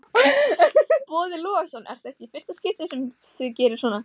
Boði Logason: Er þetta í fyrsta skipti sem þið gerið svona?